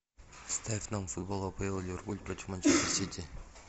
ставь нам футбол апл ливерпуль против манчестер сити